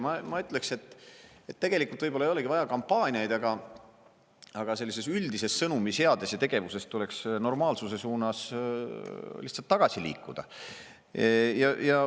Ma ütleksin, et tegelikult võib-olla ei olegi vaja kampaaniaid, aga sellises üldises sõnumiseades ja tegevuses tuleks lihtsalt normaalsuse poole tagasi liikuda.